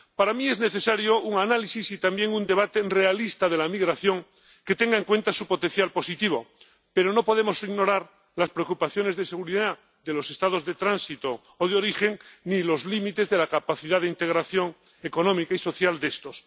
Para mí, es necesario un análisis y también un debate realista de la migración, que tenga en cuenta su potencial positivo, pero no podemos ignorar las preocupaciones de seguridad de los Estados de tránsito o de origen, ni los límites de la capacidad de integración económica y social de estos.